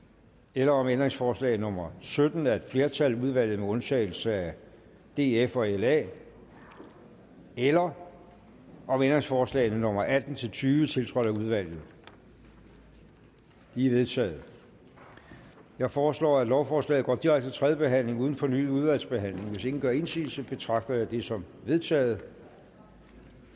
eller om ændringsforslag nummer sytten af et flertal udvalget med undtagelse af df og la eller om om ændringsforslagene nummer atten til tyve tiltrådt af udvalget de er vedtaget jeg foreslår at lovforslaget går direkte til tredje behandling uden fornyet udvalgsbehandling hvis ingen gør indsigelse betragter jeg det som vedtaget